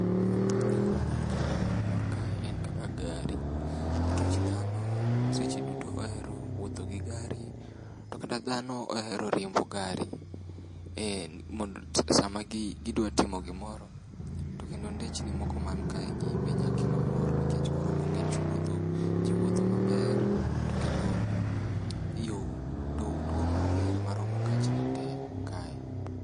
Gik manya kelo mor kae en kaka gari nikech dhano seche duto ohero wuotho gi gari. To kata dhano ohero riembo gari e sama gidwa timo gimoro. To kendo ndechni moko man kaegi be nyalo kelo mor nikech koro onge chuodho. Ji wuotho maber to kendo yo duong' maber maromo gachni te kae.